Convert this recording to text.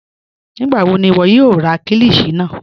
Nígbàwọ̀ ni iwọ̀ yóò rà kílíshì náà?